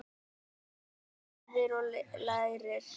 Þú lifir og lærir.